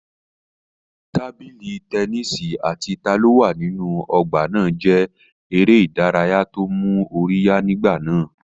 Tábìlì tẹnísì àti ta ló wà nínú ọgbà náà jẹ́ eré ìdárayá tó mú orí yá nígbà náà